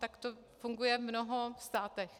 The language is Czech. Tak to funguje v mnoha státech.